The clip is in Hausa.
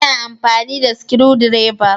Ina amfani da sukudireba